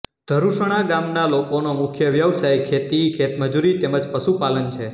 ધરુસણા ગામના લોકોનો મુખ્ય વ્યવસાય ખેતી ખેતમજૂરી તેમ જ પશુપાલન છે